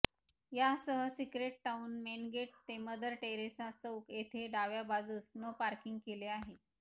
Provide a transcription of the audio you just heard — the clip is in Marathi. यासह सिक्रेट टाऊन मेनगेट ते मदर टेरेसा चौक येथे डाव्या बाजूस नो पार्किंग केले आहे